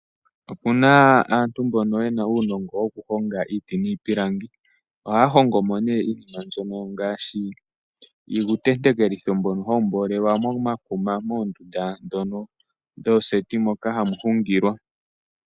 Opuna aantu mbono yena uunongo woku honga iiti niipilangi. Ohaya hongo mo iinima mbyono ngaashi iitentekelitho mbono hawu mbolelwa momakuma moondunda ndhono dhoosti moka hamu hungilwa.